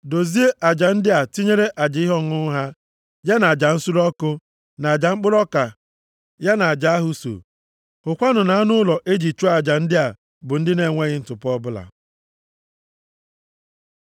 Dozie aja ndị a tinyere aja ihe ọṅụṅụ ha, ya na aja nsure ọkụ na aja mkpụrụ ọka ya na aja ahụ so. Hụkwanụ na anụ ụlọ e ji chụọ aja ndị a bụ ndị na-enweghị ntụpọ ọbụla.